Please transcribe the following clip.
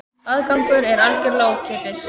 Aðgangur er algjörlega ókeypis